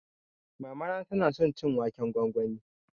Mamana ta na son cin waken gwangwani